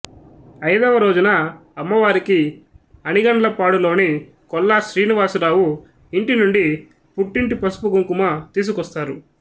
ఐదవ రోజున అమ్మవారికి అనిగండ్లపాడు లోని కొల్లా శ్రీనివాసరావు ఇంటినుండి పుట్టింటి పసుపు కుంకుమ తీసుకొస్తారు